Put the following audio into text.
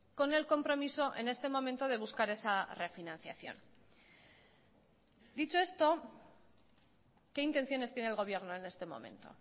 con el compromiso en este momento de buscar esa refinanciación dicho esto qué intenciones tiene el gobierno en este momento